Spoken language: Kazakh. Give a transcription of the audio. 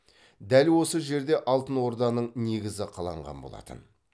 дәл осы жерде алтынорданың негізі қаланған болатын